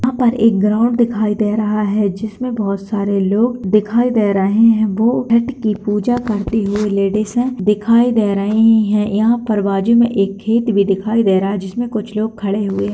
यहाँ पर एक ग्राउंड दिखाई दे रहा है जिसमें बहुत सारे लोग दिखाई दे रहें हैं बहु छठ की पूजा करते हुए लेडीजें दिखाई दे रहीं हैं यहाँ पर बाजू में एक खेत भी दिखाई दे रहा है जिसमें कुछ लोग खड़े हुए --